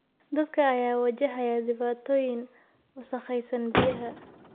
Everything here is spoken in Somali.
Dadka ayaa wajahaya dhibaatooyin wasakhaysan biyaha.